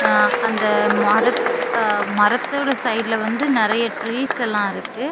அந்த மரத் மரதொட சைடுல வந்து நிறைய டிரீஸ் எல்லா இருக்கு.